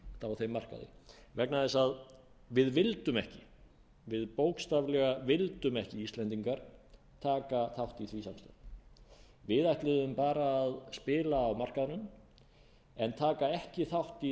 á þeim markaði vegna þess að við vildum ekki við bókstaflega vildum ekki íslendingar taka þátt í því samstarfi við ætluðum bara að spila á markaðnum en taka ekki þátt